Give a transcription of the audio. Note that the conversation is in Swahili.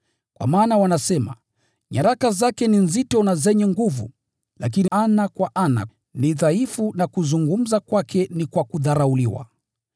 Kwa maana wanasema, “Nyaraka zake ni nzito na zenye nguvu, lakini ana kwa ana ni dhaifu na kuzungumza kwake ni kwa kudharauliwa.”